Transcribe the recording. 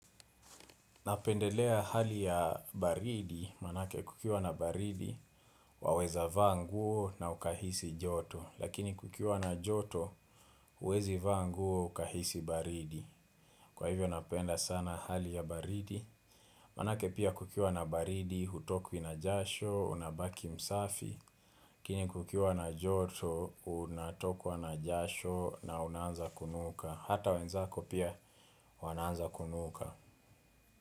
Napendelea hali ya baridi manake kukiwa na baridi waweza vaa nguo na ukahisi joto lakini kukiwa na joto uwezi vaa nguo ukahisi baridi kwa hivyo napenda sana hali ya baridi manake pia kukiwa na baridi hutokwi na jasho unabaki msafi lakini kukiwa na joto unatokwa na jasho na unaanza kunuka hata wenzako pia wanaanza kunuka.